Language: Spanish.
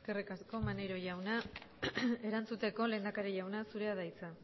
eskerrik asko maneiro jauna erantzuteko lehendakari jauna zurea da hitza